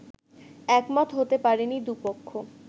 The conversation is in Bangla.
একমত হতে পারেনি দুপক্ষ